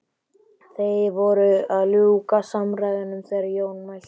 Þeir voru að ljúka samræðunum þegar Jón mælti